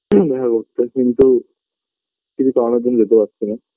দেখা করতে কিন্তু কিছু কারণের জন্য যেতে পারছিনা